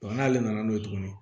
n'ale nana n'o ye tuguni